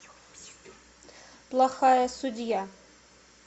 плохая судья